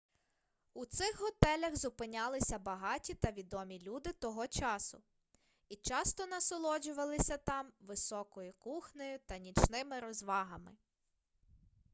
у цих готелях зупинялися багаті та відомі люди того часу і часто насолоджувалися там високою кухнею та нічними розвагами